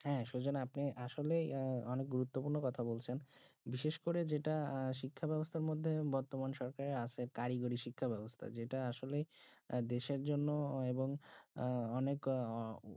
সুজন আপনি আসলে অনেক আহ গুরুত্বপূর্ণ কথা বলছেন বেসিস করে যেটা আহ শিক্ষা বেবস্তা করে বর্তমান সরকারে কারিগরি শিক্ষা বেবস্তা যেটা আসলে দেশে জন্যে এবং আহ অনেক